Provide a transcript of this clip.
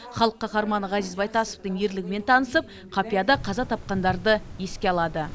халық қаһарманы ғазиз байтасовтың ерлігімен танысып қапияда қаза тапқандарды еске алады